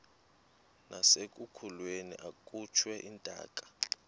nasekulweni akhutshwe intaka